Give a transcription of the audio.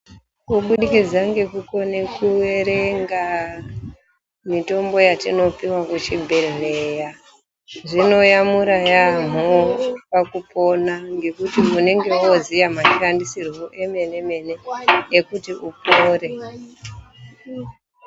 Kubudikidza ngekukone kuerenga mitombo yatinopuwa kuchibhedhleya zvinoyamura yaamho pakupona ngekuti unenge wooziya mashandisirwo emene-mene ekuti upore.